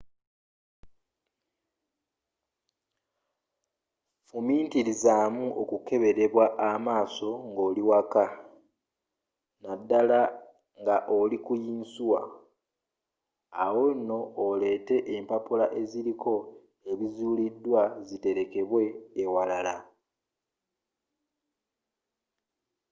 fumitirizaamu okukeberebwa amaaso ngoli waka naddala nga oliku yinsuwa awo nno oleete empapula eziriko ebizuulidwa ziterekebwe ewalala